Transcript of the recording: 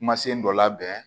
Kumasen dɔ labɛn